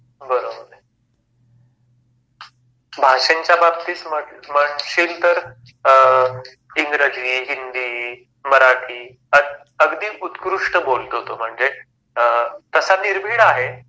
बरोबर आहे. भाषांच्या बाबतीत म्हणशील तर अ इंग्रजी, हिंदी, मराठी अगदी उत्कृष्ट बोलतो तो. म्हणजे अ तसा निर्भीड आहे